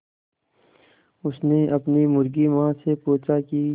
उसने अपनी मुर्गी माँ से पूछा की